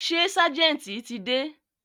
Ṣé ságẹ̀ntì ti dé?